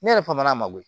Ne yɛrɛ fa m'a ma koyi